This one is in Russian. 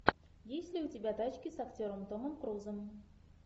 есть ли у тебя тачки с актером томом крузом